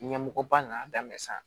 Ɲɛmɔgɔba nana daminɛ sisan